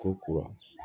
Ko kura